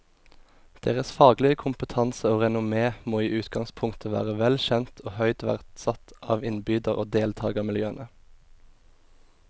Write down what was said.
Deres faglige kompetanse og renommé må i utgangspunktet være vel kjent og høyt verdsatt av innbyder og deltagermiljøene.